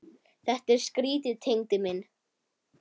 Þetta er skrýtið Tengdi minn.